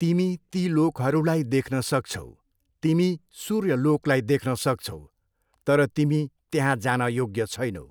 तिमी ती लोकहरूलाई देख्न सक्छौ, तिमी सूर्यलोकलाई देख्न सक्छौ, तर तिमी त्यहाँ जान योग्य छैनौ।